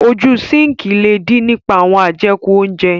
Ojú síǹkì le dí nípa àwọn ajeku óńjẹ.